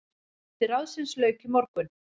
Fundi ráðsins lauk í morgun.